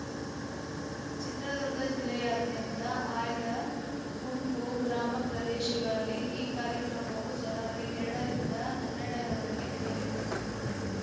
ಚಿತ್ರದುರ್ಗ ಜಿಲ್ಲೆಯಾದ್ಯಂತ ಆಯ್ದ ಗುಂಪು ಗ್ರಾಮ ಪ್ರದೇಶಗಳಲ್ಲಿ ಈ ಕಾರ್ಯಕ್ರಮವು ಜನವರಿ ಎರಡ ರಿಂದ ಹನ್ನೆರಡ ರವರೆಗೆ ನಡೆಯಲಿದೆ